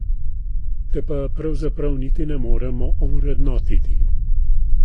Te pa pravzaprav niti ne moremo ovrednotiti.